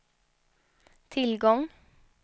tillgång